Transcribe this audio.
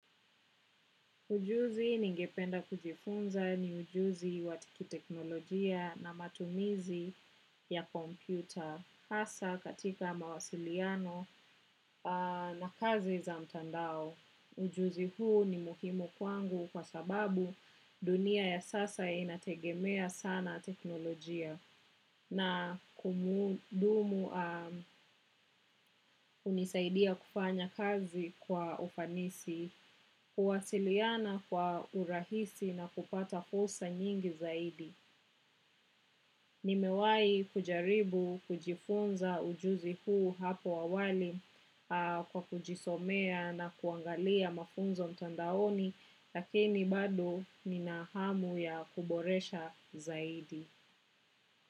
Ujuzi ningependa kujifunza ni ujuzi wa kiteknolojia na matumizi ya kompyuta hasa katika mawasiliano na kazi za mtandao. Ujuzi huu ni muhimu kwangu kwa sababu dunia ya sasa inategemea sana teknolojia. Na kumudumu hunisaidia kufanya kazi kwa ufanisi, kuwasiliana kwa urahisi na kupata fursa nyingi zaidi. Nimewahi kujaribu, kujifunza ujuzi huu hapo awali kwa kujisomea na kuangalia mafunzo mtandaoni lakini bado ninahamu ya kuboresha zaidi.